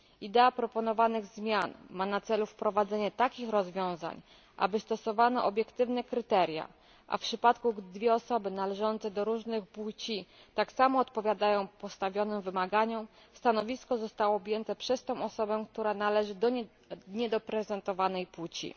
Idea proponowanych zmian ma na celu wprowadzenie takich rozwiązań, aby stosowano obiektywne kryteria, a w przypadku, gdy dwie osoby należące do różnych płci tak samo odpowiadają stawianym wymaganiom, stanowisko zostałoby objęte przez tę osobę, która należy do niedoreprezentowanej płci.